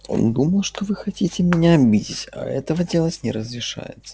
он думал что вы хотите меня обидеть а этого делать не разрешается